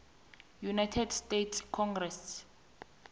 united states congress